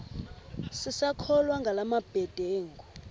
sisakholwa ngala mabedengu